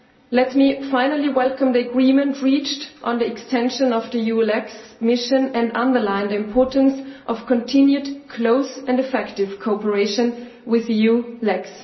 Let me finally welcome the agreement reached on the extension of the EULEX mission and underline the importance of continued close and effective cooperation with EULEX.